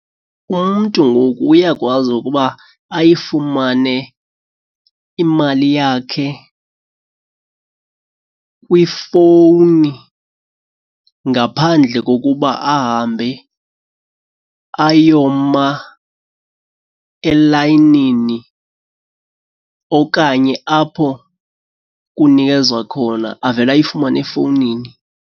Umntu ngoku uyakwazi ukuba ayifumane imali yakhe kwifowuni ngaphandle kokuba ahambe ayoma elayinini okanye apho kunikezwa khona, avele ayifumane efowunini.